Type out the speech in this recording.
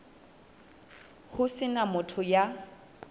ho se na motho ya